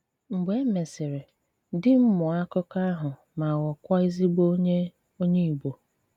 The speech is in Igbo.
Mgbè é mèsịrị, dì m mụọ́ àkụkọ àhụ mà ghọọkwà èzìgbò ònyè ònyè Ìgbò.